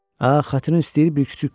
Xatırın istəyir, bir kiçik götür.